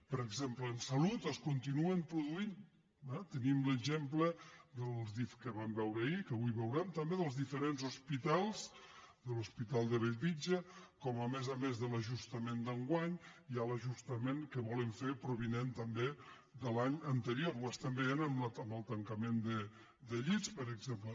per exemple en salut es continuen produint eh tenim l’exemple que vam veure ahir que avui veurem també dels diferents hospitals de l’hospital de bellvitge com a més a més de l’ajustament d’enguany hi ha l’ajusta·ment que volen fer provinent també de l’any anterior ho estem veient amb el tancament de llits per exem·ple